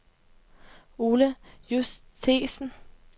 Ole Justesen